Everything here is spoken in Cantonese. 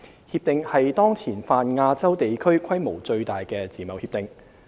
《協定》是當前泛亞洲地區規模最大的自貿協定。